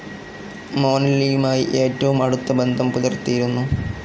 മൊനെല്ലിയുമായി ഏറ്റവും അടുത്ത ബന്ധം പുലർത്തിയിരുന്നു.